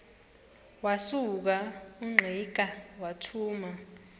wasuka ungqika wathuma